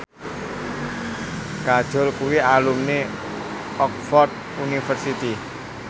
Kajol kuwi alumni Oxford university